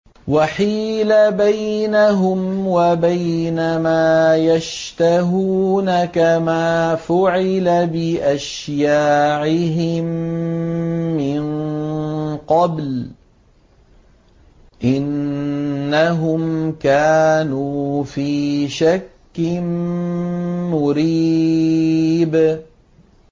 وَحِيلَ بَيْنَهُمْ وَبَيْنَ مَا يَشْتَهُونَ كَمَا فُعِلَ بِأَشْيَاعِهِم مِّن قَبْلُ ۚ إِنَّهُمْ كَانُوا فِي شَكٍّ مُّرِيبٍ